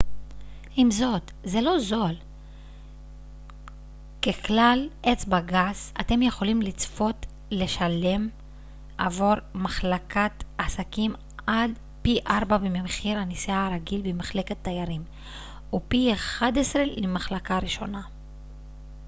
עם זאת זה לא זול ככלל אצבע גס אתם יכולים לצפות לשלם עבור מחלקת עסקים עד פי ארבעה ממחיר הנסיעה הרגיל במחלקת תיירים ופי אחד עשר למחלקה ראשונה